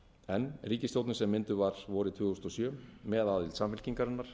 en ríkisstjórnin sem mynduð var vorið tvö þúsund og sjö með aðild samfylkingarinnar